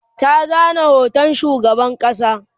ta zana hoton shugaban ƙasa